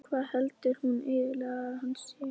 Hvað heldur hún eiginlega að hann sé?